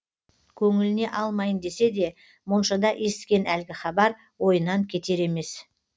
көңіліне алмайын десе де моншада есіткен әлгі хабар ойынан кетер емес